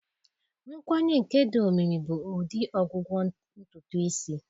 Nkwanye nke dị omimi bụ ụdị ọgwụgwọ ntutu isi.